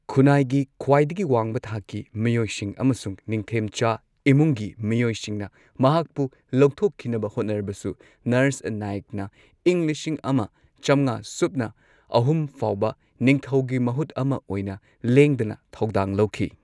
ꯈꯨꯟꯅꯥꯏꯒꯤ ꯈ꯭ꯋꯥꯢꯗꯒꯤ ꯋꯥꯡꯕ ꯊꯥꯛꯀꯤ ꯃꯤꯑꯣꯏꯁꯤꯡ ꯑꯃꯁꯨꯡ ꯅꯤꯡꯊꯦꯝꯆꯥ ꯏꯃꯨꯡꯒꯤ ꯃꯤꯑꯣꯏꯁꯤꯡꯅ ꯃꯍꯥꯛꯄꯨ ꯂꯧꯊꯣꯛꯈꯤꯅꯕ ꯍꯣꯠꯅꯔꯕꯁꯨ ꯅꯔꯁ ꯅꯥꯌꯛꯅ ꯏꯪ ꯂꯤꯁꯤꯡ ꯑꯃ ꯆꯝꯉꯥ ꯁꯨꯞꯅ ꯑꯍꯨꯝ ꯐꯥꯎꯕ ꯅꯤꯡꯊꯧꯒꯤ ꯃꯍꯨꯠ ꯑꯃ ꯑꯣꯏꯅ ꯂꯦꯡꯗꯅ ꯊꯧꯗꯥꯡ ꯂꯧꯈꯤ꯫